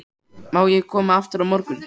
Má ég koma aftur á morgun?